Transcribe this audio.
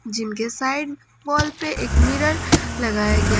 gym के side wall पे एक मिरर लगाया गया--